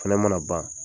Fɛnɛ mana ban